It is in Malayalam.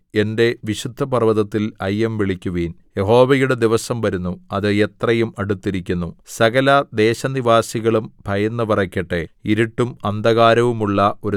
സീയോനിൽ കാഹളം ഊതുവിൻ എന്റെ വിശുദ്ധപർവ്വതത്തിൽ അയ്യംവിളിക്കുവിൻ യഹോവയുടെ ദിവസം വരുന്നു അത് എത്രയും അടുത്തിരിക്കുന്നു സകല ദേശനിവാസികളും ഭയന്ന് വിറയ്ക്കട്ടെ